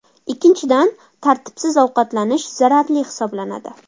Ikkinchidan, tartibsiz ovqatlanish zararli hisoblanadi.